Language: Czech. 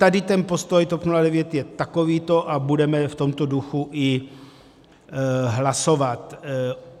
Tady ten postoj TOP 09 je takovýto a budeme v tomto duchu i hlasovat.